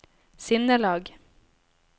sinnelag